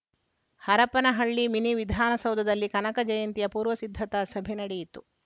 Harapanahalli mini ವಿಧಾನಸೌಧದಲ್ಲಿ ಕನಕ ಜಯಂತಿಯ ಪೂರ್ವ ಸಿದ್ಧತಾ ಸಭೆ ನಡೆಯಿತು